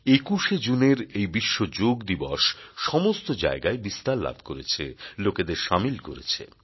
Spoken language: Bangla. ২১ জুনের এই বিশ্ব যোগ দিবস সমস্ত জায়গায় বিস্তার লাভ করেছে লোকদের সামিল করছে